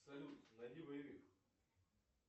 салют найди боевик